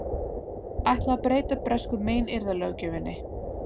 Ætla að breyta bresku meiðyrðalöggjöfinni